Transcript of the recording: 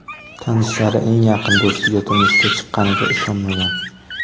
Tanishlari eng yaqin do‘stiga turmushga chiqqaniga ishonmagan.